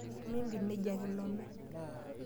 Mimpid nejia kilome.